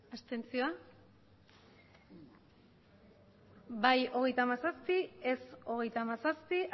abstentzioak bai hogeita hamazazpi ez hogeita hamazazpi